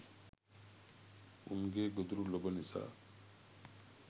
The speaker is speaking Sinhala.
උන්ගේ ගොදුරු ලොබ නිසා